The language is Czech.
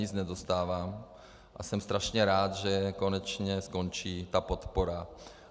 Nic nedostávám a jsem strašně rád, že konečně skončí ta podpora.